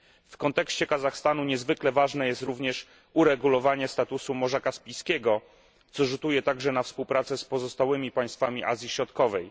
W kontekście Kazachstanu niezwykle ważne jest również uregulowanie statusu Morza Kaspijskiego, co rzutuje także na współpracę z pozostałymi państwami Azji Środkowej.